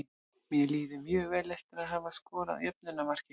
Mér líður mjög vel eftir að hafa skorað jöfnunarmarkið.